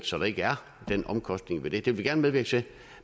så der ikke er den omkostning ved det det vil vi gerne medvirke til